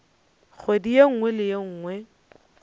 kgwedi ye nngwe le ye